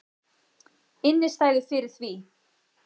Innistæðu fyrir því!